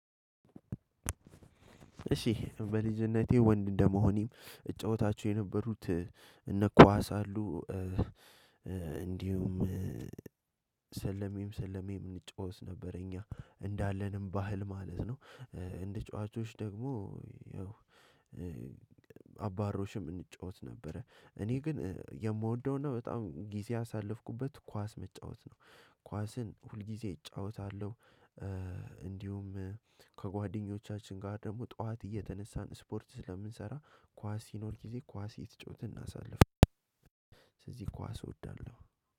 እሺ በልጅነቴ ወንድ እንደመሆኔም እጫወታችሁ የነበሩት እነ ኳስ አሉ። እንዲሁም ሰለሜም ሰለሜም እንጫወት ነበር። እኛ እንዳለንም ባህል ማለት ነው። እንደ ተጫዋቾች ደግሞ አባሮሽም እንጫወት ነበረ። እኔ ግን የምወደውና በጣም ጊዜ አሳለፍኩበት ኳስ መጫወት ነው። ኳስን ሁልጊዜ እጫወታለሁ። እንዲሁም ከጓደኞቻችን ጋር ደግሞ ጠዋት እየተነሳን ስፖርት ስለምንሰራ ኳስ ሲኖር ጊዜ ኳስ እየተጫወተን እናሳልፋለን። ለዚህ ኳስ አስወዳለሁ።